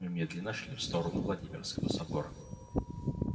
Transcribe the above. мы медленно шли в сторону владимирского собора